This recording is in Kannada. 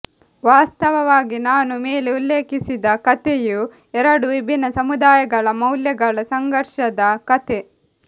ವಾಸ್ತವವಾಗಿ ನಾನು ಮೇಲೆ ಉಲ್ಲೇಖಿಸಿದ ಕತೆಯು ಎರಡು ವಿಭಿನ್ನ ಸಮುದಾಯಗಳ ಮೌಲ್ಯಗಳ ಸಂಘರ್ಷದ ಕತೆ